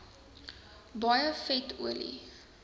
baie vet olie